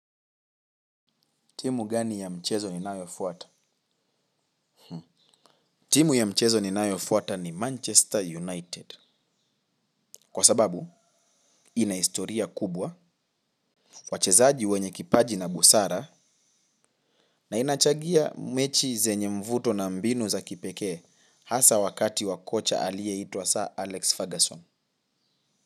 Timu gani ya mchezo ninayofuata? Timu ya mchezo ni naeofuata ni Manchester United. Kwa sababu, ina historia kubwa, wachezaji wenye kipaji na busara, na inachangia mechi zenye mvuto na mbinu za kipekee hasa wakati wa kocha aliyeitwa Sir Alex Ferguson.